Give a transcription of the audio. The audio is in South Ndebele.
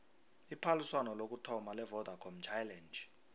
iphaliswano lokuthoma levodacom challenge